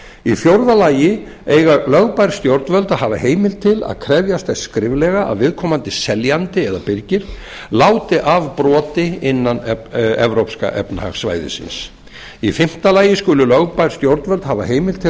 í fjórða lagi eiga lögbær stjórnvöld að hafa heimild til að krefjast þess skriflega að viðkomandi seljandi eða birgir láti af broti innan evrópska efnahagssvæðisins í fimmta lagi skulu lögbær stjórnvöld hafa heimild til